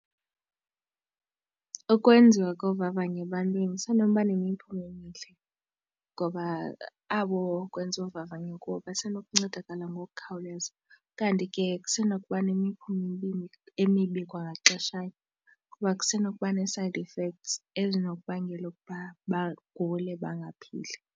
Ukwenziwa kovavanyo ebantwini isenoba nemiphumo emihle ngoba abo kwenziwa uvavanyo kubo basenokuncedakala ngokukhawuleza. Kanti ke kusenokuba nemiphumo emibi kwangaxeshanye kuba kusenokuba ne-side effects ezinokubangela ukuba bagule bangaphili.